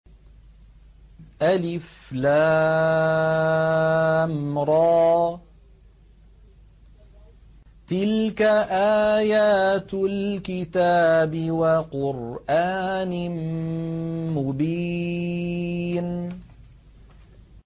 الر ۚ تِلْكَ آيَاتُ الْكِتَابِ وَقُرْآنٍ مُّبِينٍ